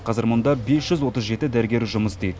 қазір мұнда бес жүз отыз жеті дәрігер жұмыс істейді